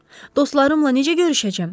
Dostlarımla necə görüşəcəm?